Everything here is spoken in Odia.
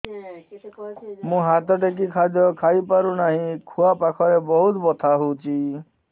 ମୁ ହାତ ଟେକି ଖାଦ୍ୟ ଖାଇପାରୁନାହିଁ ଖୁଆ ପାଖରେ ବହୁତ ବଥା ହଉଚି